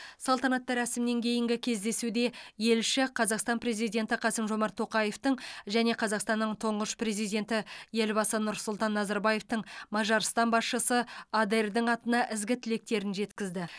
салтанатты рәсімнен кейінгі кездесуде елші қазақстан президенті қасым жомарт тоқаевтың және қазақстанның тұңғыш президенті елбасы нұрсұлтан назарбаевтың мажарстан басшысы адердің атына ізгі тілектерін жеткізді